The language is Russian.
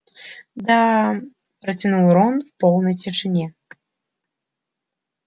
да протянул рон в полной тишине